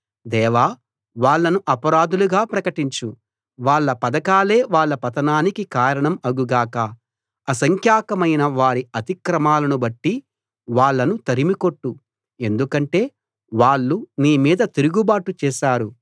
దేవా వాళ్ళను అపరాధులుగా ప్రకటించు వాళ్ళ పథకాలే వాళ్ళ పతనానికి కారణం అగు గాక అసంఖ్యాకమైన వారి అతిక్రమాలనుబట్టి వాళ్ళను తరిమి కొట్టు ఎందుకంటే వాళ్ళు నీ మీద తిరుగుబాటు చేశారు